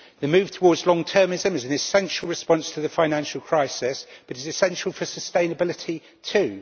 The move towards long termism is an essential response to the financial crisis but is essential for sustainability too.